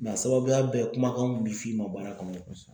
a sababuya bɛɛ kumakan mun bɛ f'i ma baara kɔnɔ